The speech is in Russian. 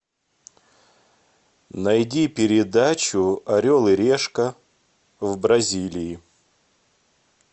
найди передачу орел и решка в бразилии